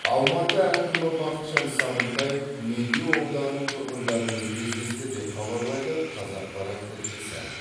алматы әкімі бақытжан сағынтаев медеу ауданының тұрғындарымен кездесті деп хабарлайды қазақпарат тілшісі